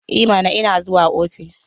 I mana! Ina zuwa ofis.